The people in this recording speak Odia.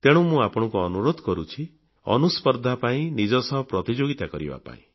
ତେଣୁ ମୁଁ ଆପଣଙ୍କୁ ଅନୁରୋଧ କରୁଛି ଅନୁସ୍ପର୍ଦ୍ଧା ପାଇଁ ନିଜ ସହ ପ୍ରତିଯୋଗିତା କରିବା ପାଇଁ